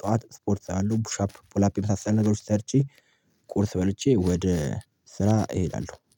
ጠዋት ስፖርት አሉ ፑሻፕ ፑል አፕ የመሳሰሉትን ነገሮች ሰርቼ። ቁርስ በልቼ ወደ ስራ እሄዳለሁ